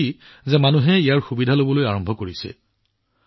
মই সুখী যে মানুহে ইয়াৰ সুবিধা লোৱা আৰম্ভ কৰিছে